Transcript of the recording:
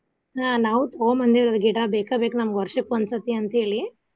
ಆಹ್ ನಾವು ತುಗೊಂಡ ಬಂದೇವ್ರಿ ಗಿಡಾ ಬೇಕ ಬೇಕ ನಮಗ ವರ್ಷಕ್ಕ ಒಂದ ಸರ್ತಿ ಅಂತ ಹೇಳಿ.